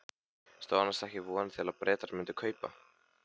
Stóðu annars ekki vonir til að Bretar mundu kaupa?